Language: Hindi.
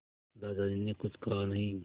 दादाजी ने कुछ कहा नहीं